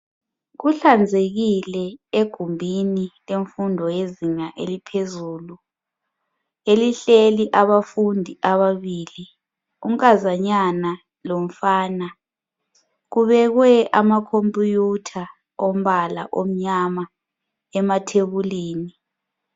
Kuhlanzekile egumbini yemfundo yezinga eliphezulu elihleli abafundi ababili unkazanyana lomfana. Kubekwe amakhomputha ompala omnyama emathebulini.